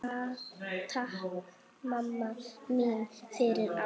Takk mamma mín fyrir allt.